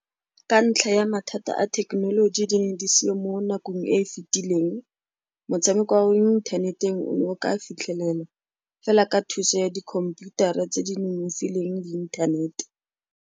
Ka ntlha ya mathata a thekenoloji, di ne di seo mo nakong e e fetileng. Motshameko wa mo inthaneteng o ne o ka fitlhelelwa fela ka thuso ya di computer tse di nonofileng le inthanete.